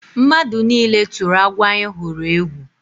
Mmadụ nile turu agwọ anyị hụrụ egwu.